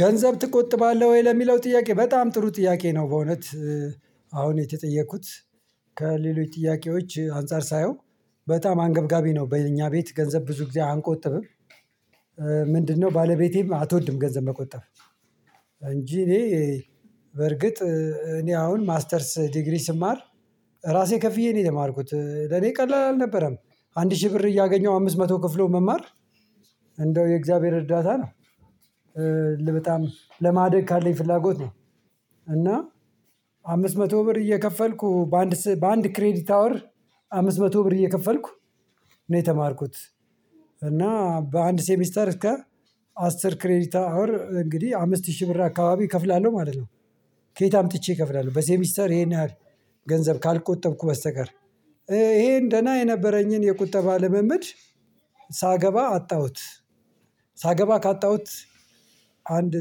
ገንዘብ ትቆጥባለህ ወይ? ለሚለው ጥያቄ በጣም ጥሩ ጥያቄ ነው። በእውነት አሁን የተጠየኩት ከሌሎች ጥያቄዎች አንፃር ሳየው በጣም አንገብጋቢ ነው። በእኛ ቤት ገንዘብ ብዙ ጊዜ አንቆጥብም። ምንድነው? ባለቤቴም አትወድም ገንዘብ መቆጠብ። እንጂ እኔ በርግጥ እኔ አሁን ማስተርስ ዲግሪ ስማር ራሴ ከፍዬ ነው የተማርኩት ለኔ ቀላል አልነበረም። አንድ ሺህ ብር እያገኘው አምስት መቶ ከፍሎ መማር። እንደው የእግዚአብሔር እርዳታ ነው። በጣም ለማደግ ካለኝ ፍላጎት ነው። እና አምስት መቶ ብር እየከፈልኩ በአንድ በአንድ ክሬዲት አወር አምስት መቶ ብር እየከፈልኩ ነው የተማርኩት። እና በአንድ ሴሚስተር እስከ አስር ክሬዲት አወር እንግዲህ አምስት ሺህ ብር አካባቢ እከፍላለሁ ማለት ነው። ከየት አምጥቼ እከፍላለሁ በሴሚስተር ይሄን ያህል? ገንዘብ ካልቆጠብኩ በስተቀር። ይሄን ደህና የነበረኝን የቁጠባ ልምምድ ሳገባ አጣሁት። ሳገባ ካጣሁት አንድ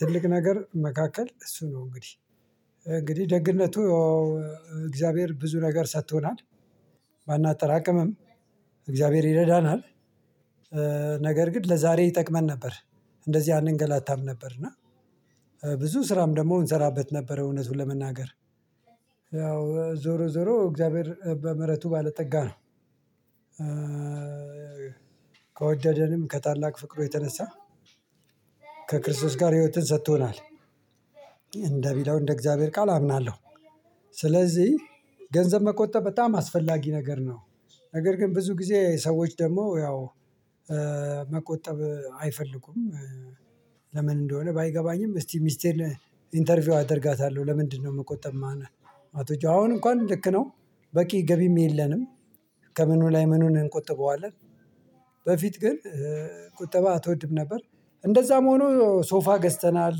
ትልቅ ነገር መካከል እሱ ነው። እንግዲህ እንግዲህ ደግነቱ እግዚአብሔር ብዙ ነገር ሰጥቶናል። ባናጠራቅምም እግዚአብሔር ይረዳናል። ነገር ግን ለዛሬ ይጠቅመን ነበር። እንደዚህ አንገላታም ነበር እና ብዙ ስራም ደግሞ እንሰራበት ነበር። እውነቱን ለመናገር ያው ዞሮ ዞሮ እግዚአብሔር በምህረቱ ባለጠጋ ነው። ከወደደንም ከታላቅ ፍቅሩ የተነሳ ከክርስቶስ ጋር ህይወትን ሰጥቶናል። እንደ ሚለው እንደ እግዚአብሔር ቃል አምናለሁ። ስለዚህ ገንዘብ መቆጠብ በጣም አስፈላጊ ነገር ነው። ነገር ግን ብዙ ጊዜ ሰዎች ደግሞ ያው መቆጠብ አይፈልጉም። ለምን እንደሆነ ባይገባኝም። እስቲ ሚስቴን ኢንተርቪው አደርጋታለሁ ለምንድነው መቆጠብ? ማትወጂው አሁን እንኳን ልክ ነው። በቂ ገቢም የለንም። ከምኑ ላይ ምኑን እንቆጥበዋለን? በፊት ግን ቁጠባ አትወድም ነበር። እንደዛም ሆኖ ሶፋ ገዝተናል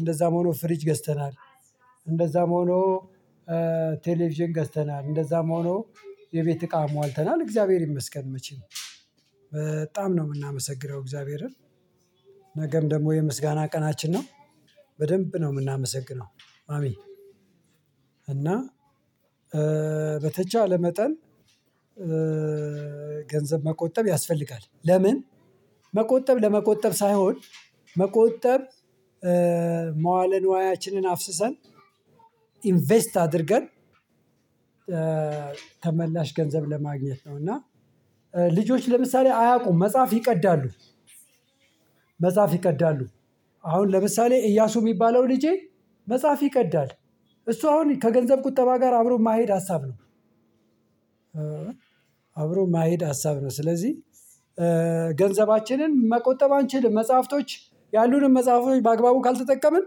እንደዛም ሆኖ ፍሪጅ ገዝተናል። እንደዛም ሆኖ ቴሌቪዥን ገዝተናል እንደዛም ሆኖ የቤት እቃ አሟልተናል። እግዚአብሔር ይመስገን መቼም በጣም ነው የምናመሰግነው እግዚአብሔርን። ነገም ደግሞ የምስጋና ቀናችን ነው። በደንብ ነው የምናመሰግነው አሜን። እና በተቻለ መጠን ገንዘብ መቆጠብ ያስፈልጋል። ለምን? መቆጠብ ለመቆጠብ ሳይሆን መቆጠብ መዋለ ንዋያችንን አፍስሰን ኢንቨስት አድርገን ተመላሽ ገንዘብ ለማግኘት ነው። እና ልጆች ለምሳሌ አያውቁም መጽሐፍ ይቀዳሉ። መጽሐፍ ይቀዳሉ። አሁን ለምሳሌ ኢያሱ የሚባለው ልጄ መጽሐፍ ይቀዳል እሱ አሁን ከገንዘብ ቁጠባ ጋር አብሮ ማይሄድ ሀሳብ ነው። አብሮ ማይሄድ ሀሳብ ነው። ስለዚህ ገንዘባችንን መቆጠብ አንችልም። መጽሐፍቶች ያሉንም መጽሐፎች በአግባቡ ካልተጠቀምን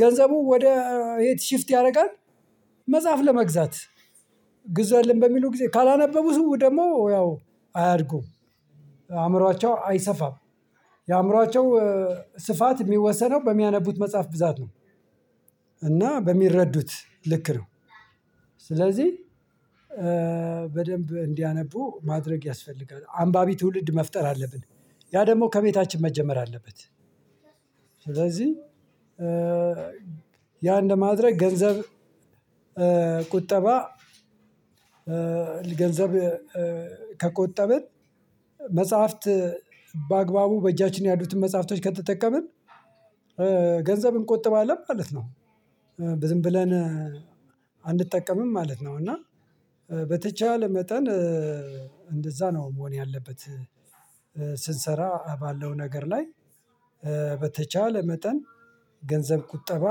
ገንዘቡ ወደ የት ሽፍት ያደርጋል። መጽሐፍ ለመግዛት ግዛልን በሚሉ ጊዜ ካላነበቡ ደግሞ ያው አያድጉም። አእምሮአቸው አይሰፋም። የአእምሮአቸው ስፋት የሚወሰነው በሚያነቡት መጽሐፍ ብዛት ነው። እና በሚረዱት ልክ ነው። ስለዚህ በደንብ እንዲያነቡ ማድረግ ያስፈልጋል አንባቢ ትውልድ መፍጠር አለብን። ያ ደግሞ ከቤታችን መጀመር አለበት። ስለዚህ ያ እንደማድረግ ገንዘብ ቁጠባ ገንዘብ ከቆጠብን መጽሐፍት በአግባቡ በእጃችን ያሉትን መጽሐፍቶች ከተጠቀምን ገንዘብ እንቆጥባለን ማለት ነው። ዝም ብለን አንጠቀምም ማለት ነው። እና በተቻለ መጠን እንደዛ ነው መሆን ያለበት። ስንሰራ ባለው ነገር ላይ በተቻለ መጠን ገንዘብ ቁጠባ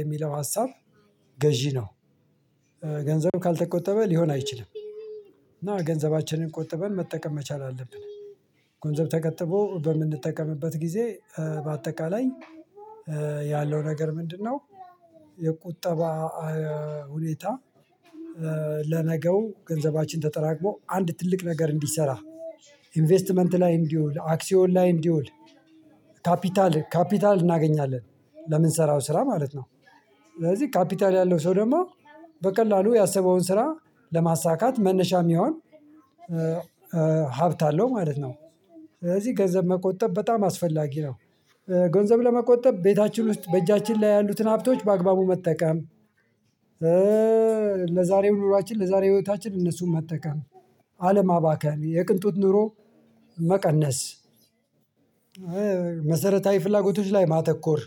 የሚለው ሀሳብ ገዢ ነው። ገንዘብ ካልተቆጠበ ሊሆን አይችልም። እና ገንዘባችንን ቆጥበን መጠቀም መቻል አለብን። ገንዘብ ተቆጥቦ በምንጠቀምበት ጊዜ በአጠቃላይ ያለው ነገር ምንድነው? የቁጠባ ሁኔታ ለነገው ገንዘባችን ተጠራቅሞ አንድ ትልቅ ነገር እንዲሰራ ኢንቨስትመንት ላይ እንዲውል አክሲዮን ላይ እንዲውል ካፒታል ካፒታል እናገኛለን። ለምንሰራው ስራ ማለት ነው። ስለዚህ ካፒታል ያለው ሰው ደግሞ በቀላሉ ያሰበውን ስራ ለማሳካት መነሻ የሚሆን ሀብት አለው ማለት ነው። ስለዚህ ገንዘብ መቆጠብ በጣም አስፈላጊ ነው። ገንዘብ ለመቆጠብ ቤታችን ውስጥ በእጃችን ላይ ያሉትን ሀብቶች በአግባቡ መጠቀም። ለዛሬው ኑሯችን ለዛሬው ህይወታችን እነሱን መጠቀም አለማባከን የቅንጦት ኑሮ መቀነስ መሰረታዊ ፍላጎቶች ላይ ማተኮር።